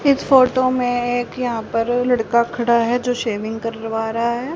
इस फोटो में एक यहां पर लड़का खड़ा है जो शेविंग करवा रहा है।